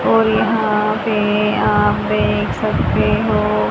और यहां पे आप देख सकते हो।